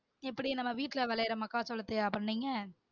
இப்புடி நம்ம வீட்டுல விளையிற மக்காசொளத்தையா பண்ணிங்க?